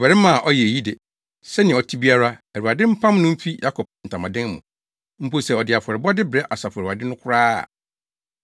Ɔbarima a ɔyɛ eyi de, sɛnea ɔte biara, Awurade mpam no mfi Yakob ntamadan mu, mpo sɛ ɔde afɔrebɔde brɛ Asafo Awurade no koraa a.